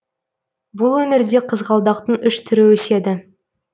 бұл өңірде қызғалдақтың үш түрі өседі